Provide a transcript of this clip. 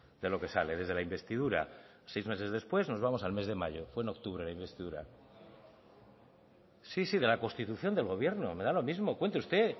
de lo que sale desde la investidura seis meses después nos vamos al mes de mayo fue en octubre la investidura sí sí de la constitución del gobierno me da lo mismo cuente usted